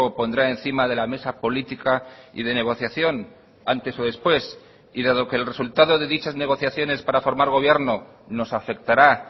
pondrá encima de la mesa política y de negociación antes o después y dado que el resultado de dichas negociaciones para formar gobierno nos afectará